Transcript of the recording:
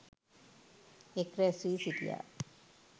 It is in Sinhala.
එක් රැස් වී සිිටියා.